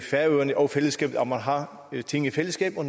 færøerne og fællesskabet at man har ting i fællesskab og